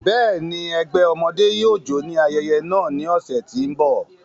Bẹ́ẹ̀ni, ẹgbẹ ọmọde yóò jó ni ayẹyẹ naa ni ọsẹ ti n bọ.